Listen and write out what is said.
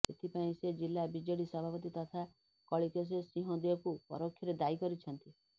ଏଥିପାଇଁ ସେ ଜିଲ୍ଲା ବିଜେଡି ସଭାପତି ତଥା କଳିକେଶ ସିଂଦେଓଙ୍କୁ ପରୋକ୍ଷରେ ଦାୟୀ କରିଛନ୍ତି